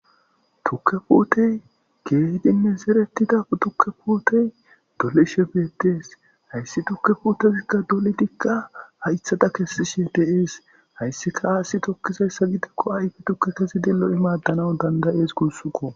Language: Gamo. Tukke puutey keehidinne zeretida tukke puutey dolishe beettees hayssi tukke puutezikka dolitikka haythada kessi she teees hayssika aassi tokkizayssa gidikko ayfi tukke kezi dello'imaaddana dandayees gunsukko.